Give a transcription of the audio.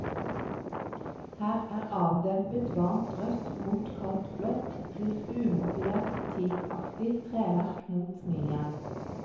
Her er avdempet varmt rødt mot kaldt blått, pluss umotivert teakaktig treverk mot smijern.